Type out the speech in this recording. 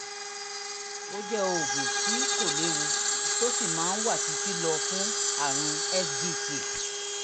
ó jẹ́ oògùn tí kò léwu tó sì máa wà títí lọ fún àrùn svt